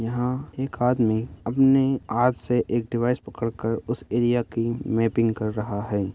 यहाँ एक आदमी अपने हाथ से एक डिवाइस पकड़ कर उस एरिया की मैपिंग कर रहा है।